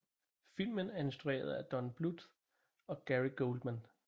Filmen er instrueret af Don Bluth og Gary Goldman